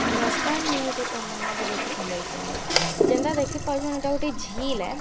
ନମସ୍କାର୍ ମୁଁଇ ହଉଛେ ତମନ୍ନା ବଗର୍ତ୍ତୀ ସମ୍ବଲପୁର୍ ନୁ ଯେନ୍ତା ଦେଖିପାରୁଛନ୍ ଇଟା ଗୋଟେ ଝିଲ୍‌ ଏ ଆଉ ଆଖେ।